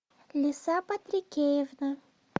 лиса патрикеевна